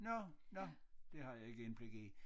Nåh nåh det har jeg ikke indblik i